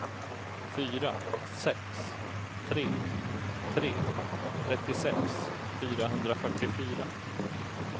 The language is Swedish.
fyra sex tre tre trettiosex fyrahundrafyrtiofyra